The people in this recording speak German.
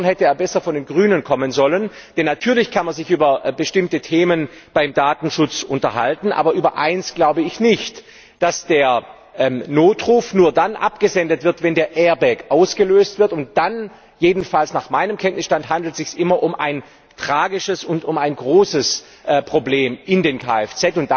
Insofern hätte er besser von den Grünen kommen sollen, denn natürlich kann man sich über bestimmte Themen beim Datenschutz unterhalten, aber über eins, glaube ich, nicht dass der Notruf nur dann abgesendet wird, wenn der Airbag ausgelöst wird, und dann jedenfalls nach meinem Kenntnisstand handelt es sich immer um ein tragisches und um ein großes Problem in dem Kfz.